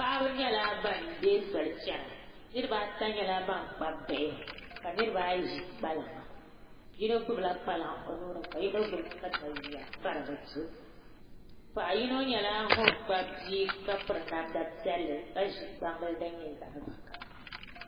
Paɣaba nyɛla ban deei soli chɛna niraba ata nyɛla ban kpabi bihi ka niraba ayi ʒi kpalaŋa yino gbubila kpalaŋ o nuuni ka yino gbubi katawiya ka di bi to paɣa yino nyɛla ŋun kpabi bia ka ʒi gbubi namda piɛlli ka gbubi gbambili din nyɛ zaɣ vakaɣali